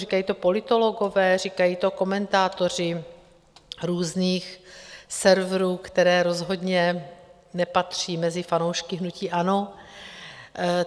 Říkají to politologové, říkají to komentátoři různých serverů, které rozhodně nepatří mezi fanoušky hnutí ANO.